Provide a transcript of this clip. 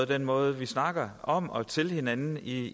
den måde vi snakker om og til hinanden i